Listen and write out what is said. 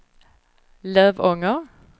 Lövånger